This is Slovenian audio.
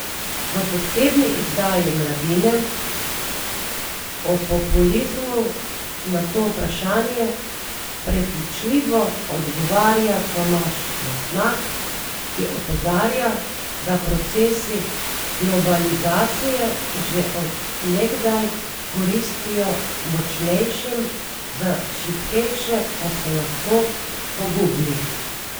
V posebni izdaji Mladine o populizmu na to vprašanje prepričljivo odgovarja Tomaž Mastnak, ko opozarja, da procesi globalizacije že od nekdaj koristijo močnejšim, za šibkejše pa so lahko pogubni.